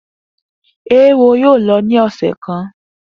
Eéwo yóò lọ ní ọ̀sẹ̀ kan!